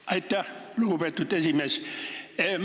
Aitäh, lugupeetud esimees!